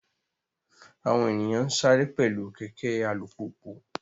Àwọn ènìyàn ń sáré pẹ̀lú kẹ̀kẹ́ alùpùpù